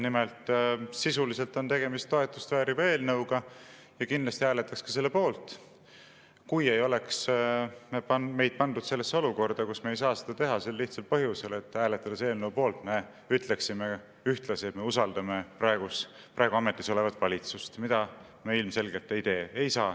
Nimelt, sisuliselt on tegemist toetust vääriva eelnõuga ja kindlasti hääletaksime selle poolt, kui ei oleks meid pandud sellesse olukorda, kus me ei saa seda teha sel lihtsal põhjusel, et hääletades eelnõu poolt, me ütleksime ühtlasi, et me usaldame praegu ametis olevat valitsust, aga seda me ilmselgelt ei tee.